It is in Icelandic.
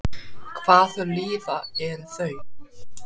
Hvað þau líða eru þau?